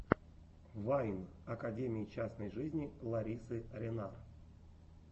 вайн академии частной жизни ларисы ренар